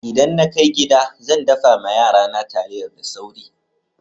Idan na kai gida, zan daffa ma yara na taliyar da sauri.